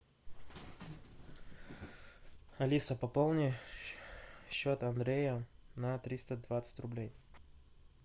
алиса пополни счет андрея на триста двадцать рублей